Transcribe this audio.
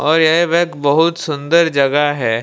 और ये वे एक बहुत सुंदर जगह है।